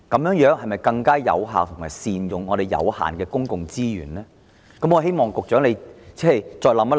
能否更有效地善用我們有限的公共資源呢？